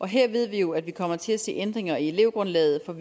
her ved vi jo at vi kommer til at se ændringer i elevgrundlaget for